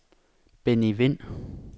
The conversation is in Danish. Benny Wind